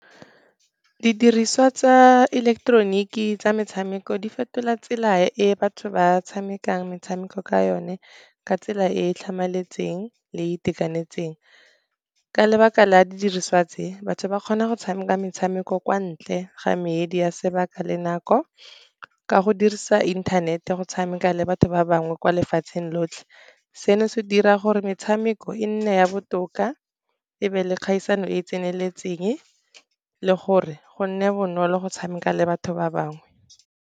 Didiriswa tsa ileketeroniki tsa metshameko di fetola tsela e batho ba tshamekang metshameko ka yone, ka tsela e e tlhamaletseng le itekanetseng. Ka lebaka la a didiriswa tse, batho ba kgona go tshameka metshameko kwa ntle ga medi ya sebaka le nako, ka go dirisa inthanete go tshameka le batho ba bangwe kwa lefatsheng lotlhe. Seno se dira gore metshameko e nne ya botoka e be le kgaisano e e tseneletseng, le gore go nne bonolo go tshameka le batho ba bangwe.